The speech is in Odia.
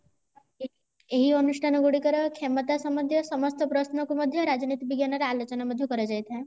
ଏହି ଅନୁଷ୍ଠାନ ଗୁଡିକର କ୍ଷମତା ସମ୍ବନ୍ଧୀୟ ସମସ୍ତ ପ୍ରଶ୍ନ କୁ ମଧ୍ୟ ରାଜନୀତି ବିଜ୍ଞାନ ରେ ଆଲୋଚନା ମଧ୍ୟ କରାଯାଇଥାଏ